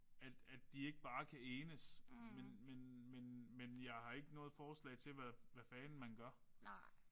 At at de ikke bare kan enes men men men men jeg har ikke noget forslag til hvad hvad fanden man gør